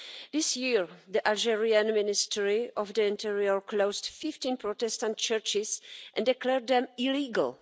This year the Algerian Ministry of the Interior closed 15 Protestant churches and declared them illegal.